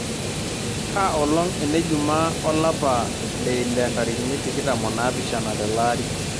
kaa olong' enejumaa olapa leile ntarikini tikitam o naapishana telaari